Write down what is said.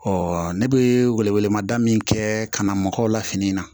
Ɔ ne bɛ welewelemada min kɛ ka na mɔgɔw la fini na